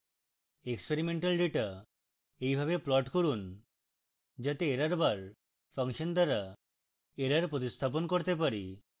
experimental data এইভাবে plot করুন যাতে errorbar ফাংশন দ্বারা error উপস্থাপন করতে পারি